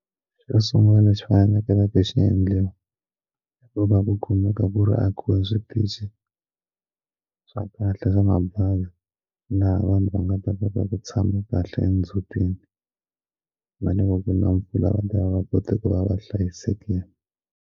Xo sungula lexi faneleke xi endliwa hi ku va ku eka ku ri akiwa switichi swa kahle swa mabazi na vanhu va nga ta ta ta ku tshama kahle ndzutini va nge vi na mpfula va ta va va kote ku va va hlayisekile.